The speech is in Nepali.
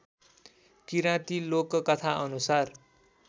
किराती लोककथा अनुसार